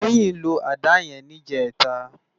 Toyin ló àdá yèn nijètá